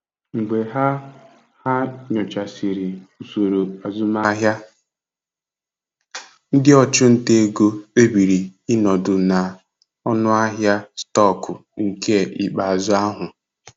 Mgbe ha ha nyochasịrị usoro azụmahịa, ndị ọchụnta ego kpebiri ịnọdụ na ọnụahịa stọkụ nke ikpeazụ ahụ.